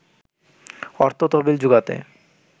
অর্থ তহবিল জোগাতে